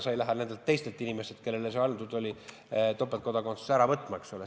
Sa ei lähe nendelt inimestelt, kellele see antud oli, topeltkodakondsust ära võtma, eks ole.